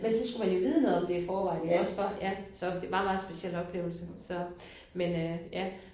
Men så skulle man jo vide noget om det i forvejen iggås for ja så det var en meget speciel oplevelse så men øh ja